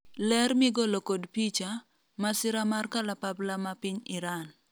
ler migolo kod picha ,masira mar kalapapla ma piny Iran